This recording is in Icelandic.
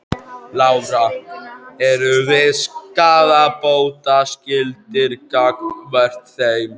Lára: Eru þið skaðabótaskyldir gagnvart þeim?